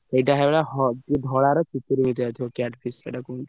ସେଇ type ର ହ~ ଯୋଉ ଧଳାର ହେଇଥିବ care fish ସେଇଟା କୁହନ୍ତି।